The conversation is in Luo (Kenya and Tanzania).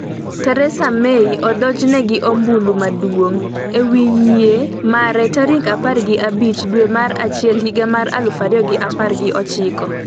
Theresa May odonjne gi 'ombulu maduong'' e wi yie mare tarik apar gi abich dwe mar achiel higa mar aluf ariyo gi apar gi ochiko